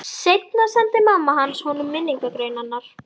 Seinna sendi mamma hans honum minningargreinarnar.